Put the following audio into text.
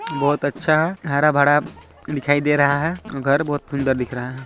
बहोत अच्छा हरा भरा दिखाई दे रहा है घर बहुत सुंदर दिख रहा है।